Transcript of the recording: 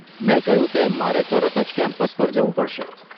મેં કહ્યું તેમ મારે તરત જ કેમ્પસ પર જવું પડશે.